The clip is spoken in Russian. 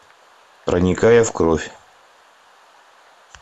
проникая в кровь